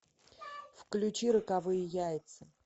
включи роковые яйца